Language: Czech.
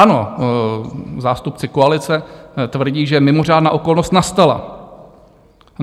Ano, zástupci koalice tvrdí, že mimořádná okolnost nastala.